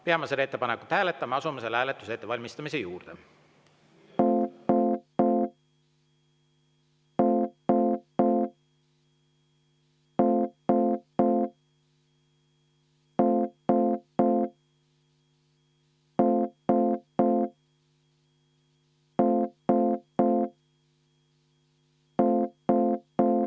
Peame seda ettepanekut hääletama ja asume selle hääletuse ettevalmistamise juurde.